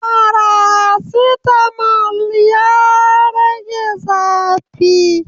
Faracetamol ya rage zafi